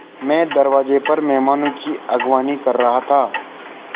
मैं दरवाज़े पर मेहमानों की अगवानी कर रहा था